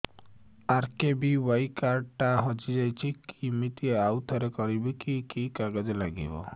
RKBY card ଟା ହଜିଯାଇଛି କିମିତି ଆଉଥରେ କରିବି କି କି କାଗଜ ଲାଗିବ